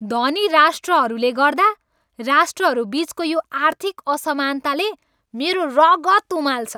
धनी राष्ट्रहरूले गर्दा राष्ट्रहरू बिचको यो आर्थिक असमानताले मेरो रगत उमाल्छ।